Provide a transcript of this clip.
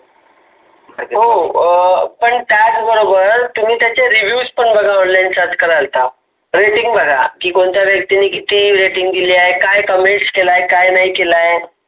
पण हो त्याच बरोबर तुम्ही Reviews पण बघा online sharch कराल त, rating बघा की कोणत्या व्यक्तीने कोणते rating बघा की कोणत्या व्यक्तीने कित comments केले काय नाही केलय आहे.